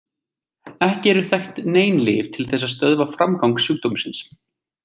Ekki eru þekkt nein lyf til þess að stöðva framgang sjúkdómsins.